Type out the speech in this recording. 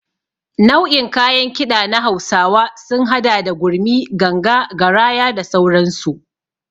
Nau'in kayan Kiɗa na hausawa sun hada da gurmi, ganga, garaya da sauransu.